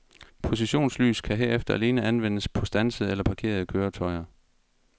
Positionslys kan herefter alene anvendes på standsede eller parkerede køretøjer.